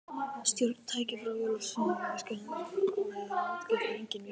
Stjórntækið frá jólsveinasetrinu virkaði hins vegar ágætlega, enda enginn vírus í því.